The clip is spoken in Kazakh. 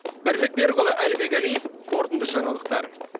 бірлік берікұлы әлібек әлиев қорытынды жаңалықтар